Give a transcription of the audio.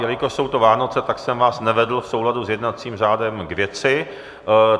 Jelikož jsou to Vánoce, tak jsem vás nevedl v souladu s jednacím řádem k věci.